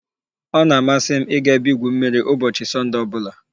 ọ na-amasị m ịga ebe igwu mmiri ụbọchị Sọnde ọ bụla